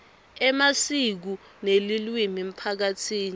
emasiko nelulwimi emphakatsini